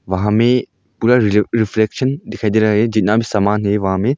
वहां में पूरा रि रिफ्लेक्शन दिखाई दे रहा है जितना भी समान है वहां में।